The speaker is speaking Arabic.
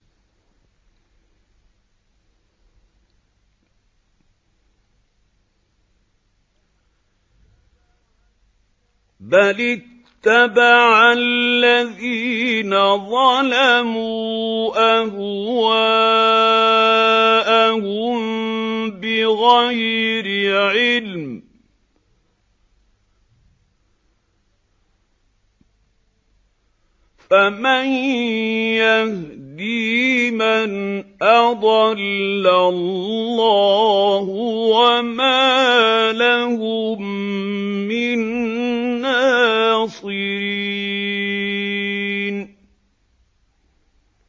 بَلِ اتَّبَعَ الَّذِينَ ظَلَمُوا أَهْوَاءَهُم بِغَيْرِ عِلْمٍ ۖ فَمَن يَهْدِي مَنْ أَضَلَّ اللَّهُ ۖ وَمَا لَهُم مِّن نَّاصِرِينَ